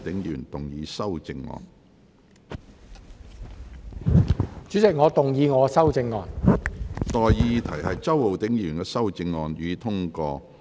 我現在向各位提出的待議議題是：周浩鼎議員動議的修正案，予以通過。